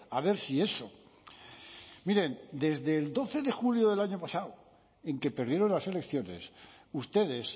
a ver si eso miren desde el doce de julio del año pasado en que perdieron las elecciones ustedes